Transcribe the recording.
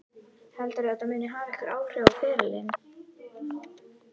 Heldurðu að þetta muni hafa einhver áhrif á ferilinn?